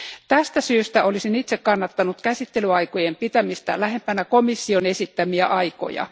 Tästä syystä olisin itse kannattanut käsittelyaikojen pitämistä lähempänä komission esittämiä aikoja.